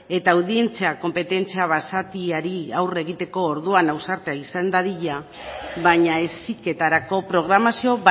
eta audientzia konpetentzia basatiari aurre egiteko orduan ausarta izan dadila baina heziketarako programazio